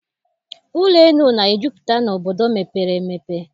Ụlọelu na-ejupụta n'obodo mepere emepe.